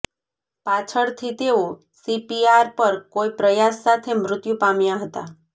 પાછળથી તેઓ સીપીઆર પર કોઈ પ્રયાસ સાથે મૃત્યુ પામ્યા હતા